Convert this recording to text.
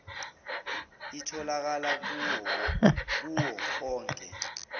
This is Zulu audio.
itholakala kuwo onke